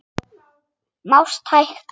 Mást hægt út.